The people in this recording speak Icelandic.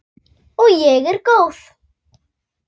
Og ég er góð.